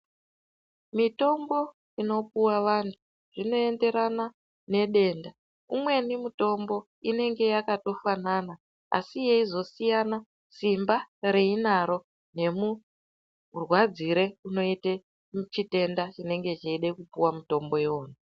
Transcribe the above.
Mitombo inopuwa vanhu inoenderana nedenda imweni mitombo inenge yakatofanana asi yeizosiyana simba reinaro nemurwadzire unoita chitenda chinenge cheida kupuwa mutombo iwona.